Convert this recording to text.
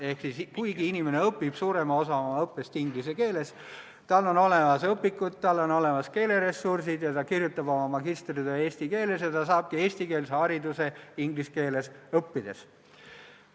Ehk siis, kuigi inimene läbib suurema osa õppest inglise keeles, on tal olemas õpikud ja keeleressursid, kirjutab ta oma magistritöö eesti keeles ning saabki eestikeelse hariduse inglise keeles õppides.